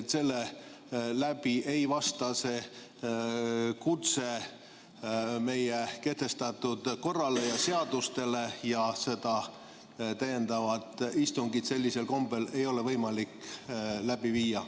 See kutse ei vasta meie kehtestatud korrale ja seadustele ja seda täiendavat istungit sellisel kombel ei ole võimalik läbi viia.